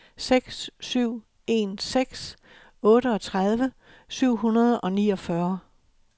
seks syv en seks otteogtredive syv hundrede og niogfyrre